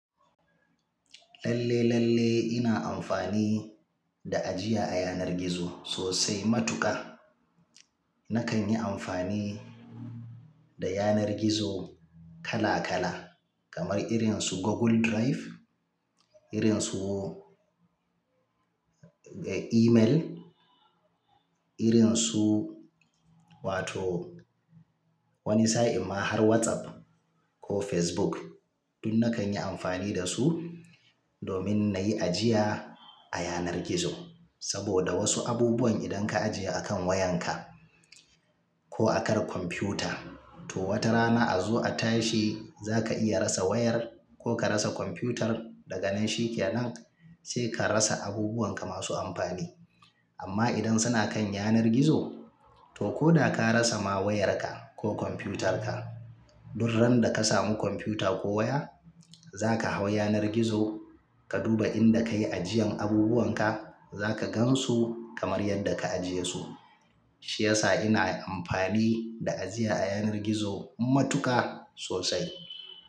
Lalle, lalle ina amfani da ajiya a yanar gizo sosai matuƙa. Nakan yi amfani da yanar gizo kala kala kamar irin su Google Drive, irin su, eh, email, irin su wato wani sa'in ma har WhatsApp ko Facebook. Duk nakan yi amfani da su domin na yi ajiya a yanar gizo. Saboda wasu abubuwan idan ka ajiye a kan wayanka ko akan kwamfuta, to wata rana a zo a tashi za ka iya rasa wayar ko ka rasa kwamfutar da ganin shi ke nan sai ka rasa abubuwan ka masu amfani. Amma idan suna kan yanar gizo, to ko da ka rasa ma wayarka ko kwamfutarka, durran da ka samu kwamfuta ko waya, za ka hau yanar gizo ka duba inda ka yi ajiyan abubuwan ka za ka gan su kamar yadda ka ajiye su. Shi yasa ina amfani da ajiya a yanar gizo matuƙa sosai.